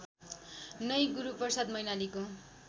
नै गुरूप्रसाद मैनालीको